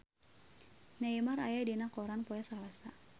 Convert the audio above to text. Neymar aya dina koran poe Salasa